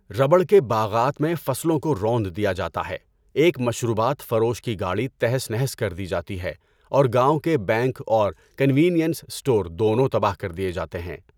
Rubber کے باغات میں فصلوں کو روند دیا جاتا ہے، ایک مشروبات فروش کی گاڑی تہس نہس کر دی جاتی ہے اور گاوٴں کے بینک اور کنوینئنس اسٹور دونوں تباہ کر دیے جاتے ہیں۔